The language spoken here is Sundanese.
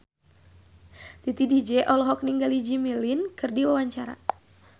Titi DJ olohok ningali Jimmy Lin keur diwawancara